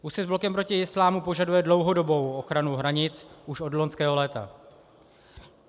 Úsvit s Blokem proti Islámu požaduje dlouhodobou ochranu hranic už od loňského léta.